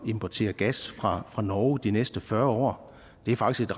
importere gas fra fra norge de næste fyrre år det er faktisk